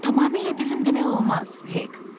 Tamamilə bizim demək olmaz, Hek.